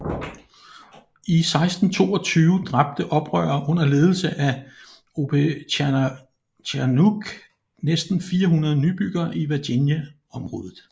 I 1622 dræbte oprørere under ledelse af Opechancanough næsten 400 nybyggere i Virginia området